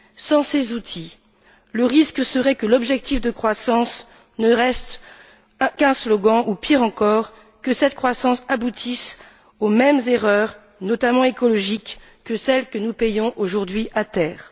Sans ces outils, le risque serait que l'objectif de croissance ne reste qu'un slogan ou, pire encore, que cette croissance aboutisse aux mêmes erreurs, notamment écologiques, que celles que nous payons, aujourd'hui, à terre.